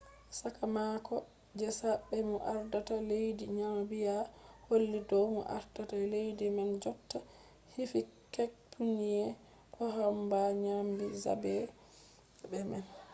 sakamako je zaɓe mo ardata leddi namibiya holli dow mo ardata leddi man jotta hifikepunye pohamba nyami zaɓe man